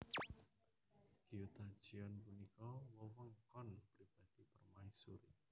Gyotajeon punika wewengkon pribadi permaisuri